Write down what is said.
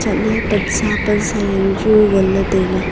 chat ley pansa pansa yanu chu ngan ley tai ley.